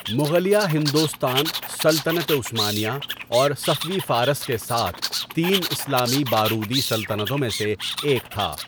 مغلیہ ہندوستان سلطنت عثمانیہ اور صفوی فارس کے ساتھ تین اسلامی بارودی سلطنتوں میں سے ایک تھا۔